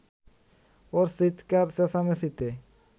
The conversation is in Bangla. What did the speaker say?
ওর চিৎকার-চেঁচামেচিতে